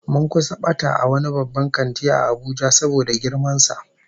Mun kusa bata a wani babban kanti a Abuja saboda girman sa